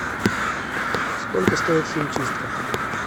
сколько стоит химчистка